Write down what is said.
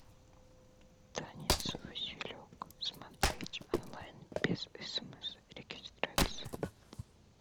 танец василек смотреть онлайн без смс регистрации